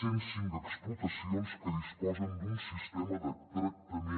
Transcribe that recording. cent cinc explotacions que disposen d’un sistema de tractament